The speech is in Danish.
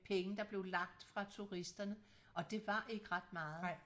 Penge der blev lagt fra turisterne og det var ikke ret meget